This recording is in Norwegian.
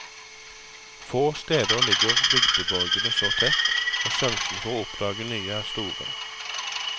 Få steder ligger bygdeborgene så tett, og sjansen for å oppdage nye er store.